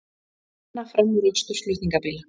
Banna framúrakstur flutningabíla